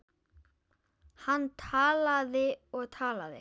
Hann talaði og talaði.